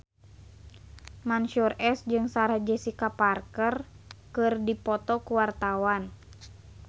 Mansyur S jeung Sarah Jessica Parker keur dipoto ku wartawan